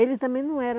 Ele também não era...